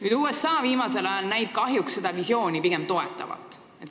USA näib viimasel ajal kahjuks seda visiooni pigem toetavat.